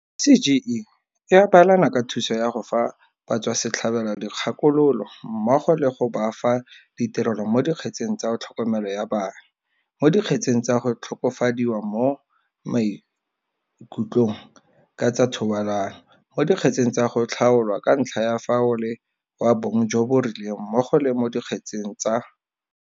CGE e abelana ka thuso ya go fa batswasetlhabelo dikgakololo mmogo le go ba fa ditirelo mo dikgetseng tsa tlhokomelo ya bana, mo di kgetseng tsa go tlhokofadiwa mo maikutlong ka tsa thobalano, mo dikgetseng tsa go tlhaolwa ka ntlha ya fa o le wa bong jo bo rileng mmogo le mo dikgetseng tsa.